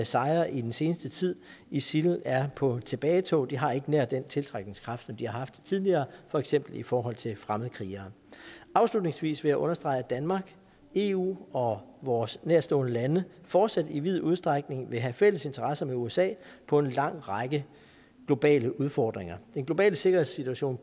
sejre i den seneste tid isil er på tilbagetog de har ikke nær den tiltrækningskraft som de har haft tidligere for eksempel i forhold til fremmede krigere afslutningsvis vil jeg understrege at danmark eu og vores nærtstående lande fortsat i vid udstrækning vil have fælles interesser med usa på en lang række globale udfordringer den globale sikkerhedssituation